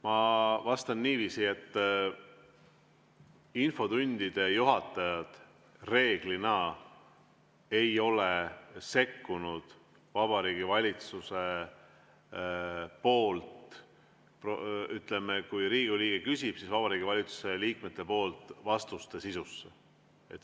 Ma vastan niiviisi, et infotunni juhataja reeglina ei ole sekkunud, kui Riigikogu liige on küsinud, Vabariigi Valitsuse liikmete antud vastuste sisusse.